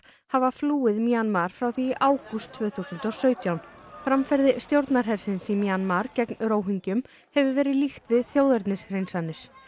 hafa flúið Mjanmar frá því í águst tvö þúsund og sautján framferði stjórnarhersins í Mjanmar gegn hefur verið líkt við þjóðernishreinsanir